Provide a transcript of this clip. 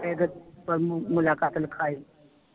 ਤੇ ਗੁਰ ਮੁਲਾਕਾਤ ਲਿਖਾਈ